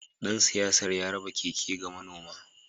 Dan siyasar ya raba keke ga manoma